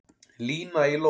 Lína í lófa